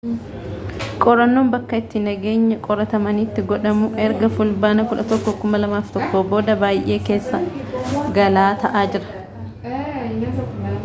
qorannoon bakka itti nageenya qoratamanitti godhamu ergafulbaana 11 2001 booda baay'ee keessa-galaa ta'aa jira